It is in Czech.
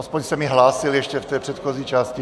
Aspoň se mi hlásil ještě v té předchozí části.